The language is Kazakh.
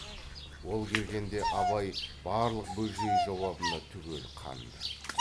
ол келгенде абай барлық бөжей жауабына түгел қанды